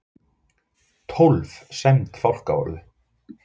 Tólf sæmd fálkaorðu